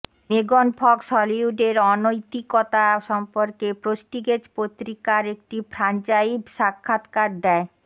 Magen Fox হলিউডের অনৈতিকতা সম্পর্কে প্রস্টিগেজ পত্রিকার একটি ফ্রাঞ্চাইভ সাক্ষাৎকার দেয়